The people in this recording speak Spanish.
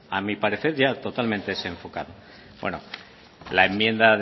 a mí parecer ya totalmente desenfocada bueno la enmienda